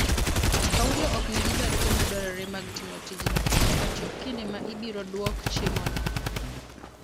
Paulo ok nigi barupe madwarore mag timo tijno nyaka chop kinde ma ibiro dwok chiemono.